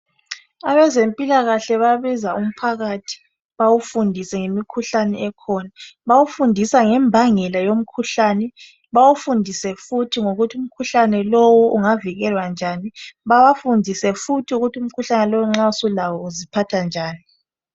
Abezempilakahle bayabiza umphakathi bawufundise ngemikhuhlane ekhona bawufundisa ngembangela yomkhuhlane bawufundise futhi ngokuthi umkhuhlane lowu ungavikelwa njani babafundise futhi ukuthi umkhuhlane lowu nxa sulawo uziphatha njani.